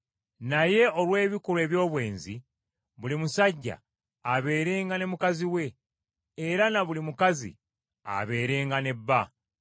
Naye olw’ebikolwa eby’obwenzi, buli musajja abeerenga ne mukazi we; era na buli mukazi abeerenga ne bba.